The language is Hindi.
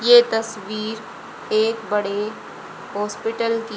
ये तस्वीर एक बड़े हॉस्पिटल की--